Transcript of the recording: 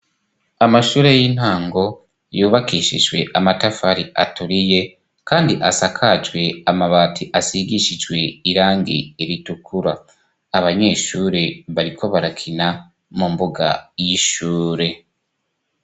Amashure y'intango, yubakishijwe amatafari aturiy, kandi asakajwe amabati asigishijwe irangi ritukura. Abanyeshuri bariko barakina mu mbuga y'ishure.